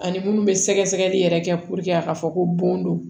Ani munnu bɛ sɛgɛsɛgɛli yɛrɛ kɛ a ka fɔ ko bon don